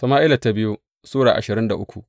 biyu Sama’ila Sura ashirin da uku